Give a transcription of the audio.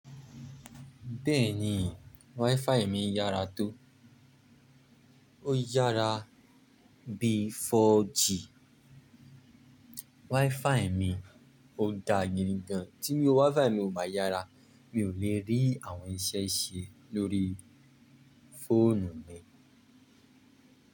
Bẹ́ẹ̀ni, wifi mi yára tó. Ó yára bíi 4G. Wifi mi ò dáa gidigán, tí wifi mi ò bá yára, mi ò lè rí àwọn iṣẹ́ ṣe lórí fóònù mi.